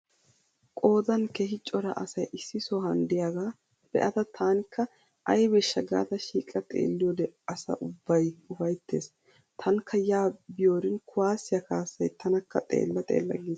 Qoodan keehi cora asay issi sohan diyagaa be'ada taanikka aybeeshsha gaada shiiqa xeelliyode asa ubbay ufayttees. Taanikka yaa biyorin kuwaassiya kaassay tanakka xeella xeella giis.